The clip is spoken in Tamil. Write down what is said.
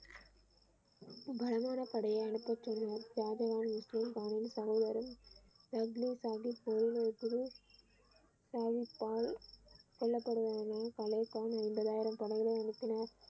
பலமான படையை அனுப்பச் சொன்னார் ஷாஜகான் முஸ்லிம் தலைவரும் சாகிப் கொல்லப்படுவான் என ஒன்பதாயிரம் படைகளை அனுப்பினார்.